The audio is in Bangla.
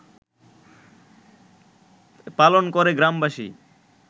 পালন করে গ্রামবাসী